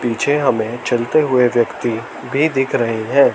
पीछे हमे चलते हुए व्यक्ति भी दिख रहे है।